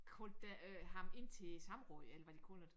Kaldte øh ham ind til samråd eller hvad de kalder det